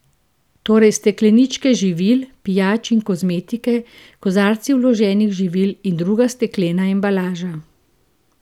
Torej stekleničke živil, pijač in kozmetike, kozarci vloženih živil in druga steklena embalaža.